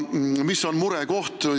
Mis on aga murekoht?